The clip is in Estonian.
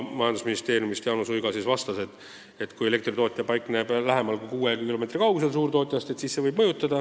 Jaanus Uiga vastas, et kui elektritootja paikneb lähemal kui kuus kilomeetrit suurtootjast, siis see võib kulutusi mõjutada.